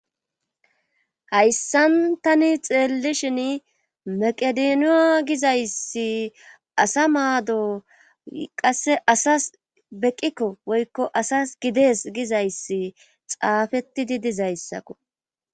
hayssan tani xeellishin maqedooniya gizayssi asa maado qasse asas beqqikko woykko asas gides gizayssi xaafetti di dizayssakko